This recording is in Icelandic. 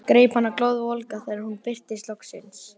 Greip hana glóðvolga þegar hún birtist loksins.